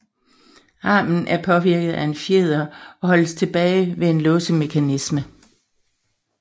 Armen er påvirket af en fjeder og holdes tilbage ved en låsemekanisme